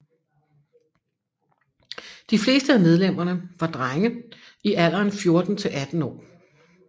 De fleste af medlemmerne var drenge i alderen 14 til 18 år